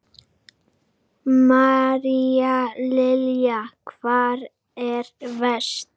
María Lilja: Hvar er verst?